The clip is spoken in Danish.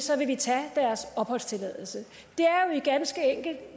så vil vi tage deres opholdstilladelse